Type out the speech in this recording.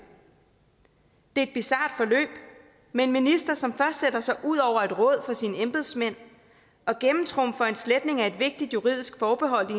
det bizart forløb med en minister som først sætter sig ud over et råd fra sine embedsmænd og gennemtrumfer en sletning af et vigtigt juridisk forbehold i